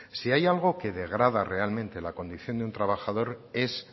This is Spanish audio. si hay algo que degrada realmente la condición de un trabajador es